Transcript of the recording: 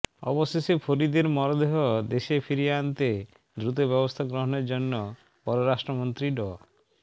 অবশেষে ফরিদের মরদেহ দেশে ফিরিয়ে আনতে দ্রুত ব্যবস্থা গ্রহণের জন্য পররাষ্ট্রমন্ত্রী ড